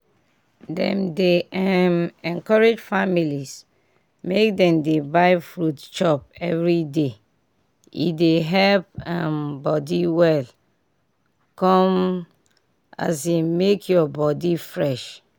dem dey um encourage families make dem dey buy fruits chop everyday e dey help um body well come um make your body fresh.